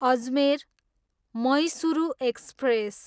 Ajmer, Mysuru express